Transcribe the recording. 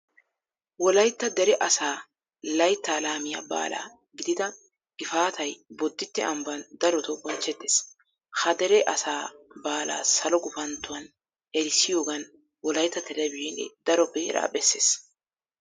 Wolaytta dere asaa laytta laamiya baala gidida gifaatay bodditte ambban darotoo bonchchettees. Ha dere asaa baalaa salo gufanttuwan eretissiyogan wolaytta televizhiinee daro beeraa bessees.